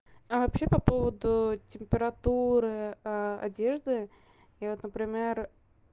а вообще по поводу температуры одежды и вот например